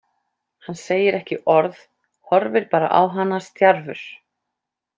Hann segir ekki orð, horfir bara á hana stjarfur.